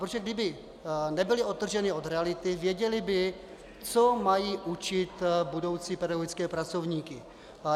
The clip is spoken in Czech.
Protože kdyby nebyly odtržené od reality, věděly by, co mají učit budoucí pedagogické pracovníky.